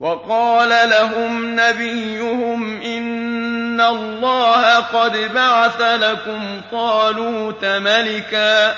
وَقَالَ لَهُمْ نَبِيُّهُمْ إِنَّ اللَّهَ قَدْ بَعَثَ لَكُمْ طَالُوتَ مَلِكًا ۚ